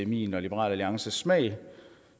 min og liberal alliances smag der